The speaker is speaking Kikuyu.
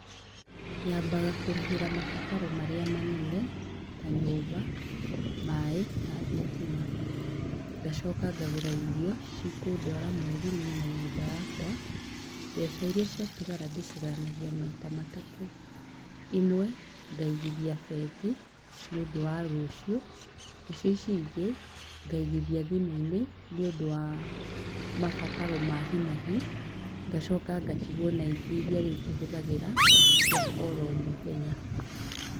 Nyambaga kũrĩhĩra mabataro marĩa manene, ta nyũmba, maaĩ na thitima. Ngacoka ngagũra irio, cikũndwara mweri, niĩ na nyũmba yakwa. Mbeca iria citagara ndĩcigayanagia maita matatũ. Imwe, ngaigithia bengi, nĩũndũ wa rũciũ. Nacio ici ingĩ ngaigithia thimũ-inĩ nĩũndũ wa mabataro ma hi na hi. Ngacoka ngatigwo na ingĩ iria rĩu tũhũthagĩra cia oro mũthenya.